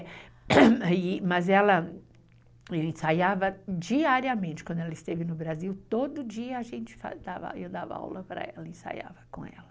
É, mas ela ensaiava diariamente, quando ela esteve no Brasil, todo dia a gente, eu dava aula para ela, ensaiava com ela.